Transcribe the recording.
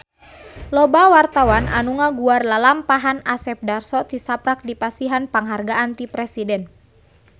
Loba wartawan anu ngaguar lalampahan Asep Darso tisaprak dipasihan panghargaan ti Presiden